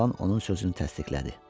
Oğlan onun sözünü təsdiqlədi.